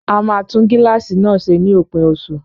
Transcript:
A máa tún gíláàsì náà ṣe ní òpin oṣù